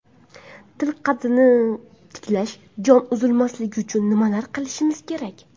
Til qaddini tiklashi, joni uzilmasligi uchun nimalar qilishimiz kerak?